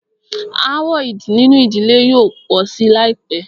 Aàwọ̀ nínú ìdílé yóò pọ̀ sí láìpẹ́.